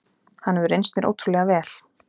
Hann hefur reynst mér ótrúlega vel.